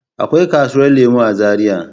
Akwai kasuwar lemu a zaria.